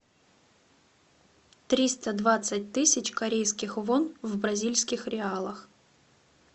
триста двадцать тысяч корейских вон в бразильских реалах